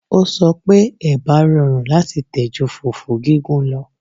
Ó sọ pé Ẹ̀bà rọrùn láti tẹ̀ ju fùfú gígún lọ